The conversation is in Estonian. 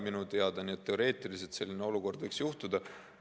Teoreetiliselt võiks selline olukord tekkida.